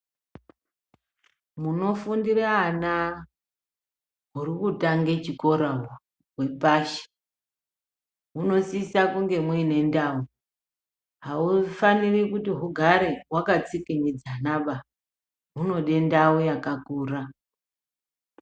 Munofundira ana huri kutange chikora uhu hwepashi ,munosisa kunge munendau, haufaniri kuti hugare hwaka tsikinyidzana ba, hunode ndau yakakura.